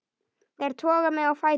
Þær toga mig á fætur.